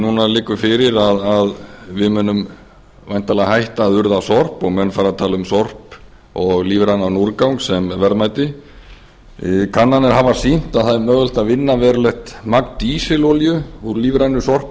núna liggur fyrir að við munum væntanlega hætta að urða sorp og menn fari að tala um sorp og lífrænan úrgang sem verðmæti kannanir hafa sýnt að það er mögulegt að vinna verulegt magn dísilolíu úr lífrænu sorpi